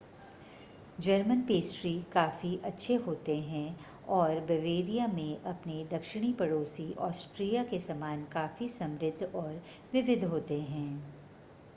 German pastry काफी अच्छे होते हैं और बवेरिया में अपने दक्षिणी पड़ोसी ऑस्ट्रिया के समान काफी समृद्ध और विविध होते हैं